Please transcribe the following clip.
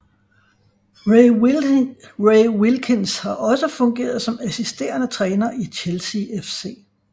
Ray Wilkins har også fungeret som assisterende træner i Chelsea FC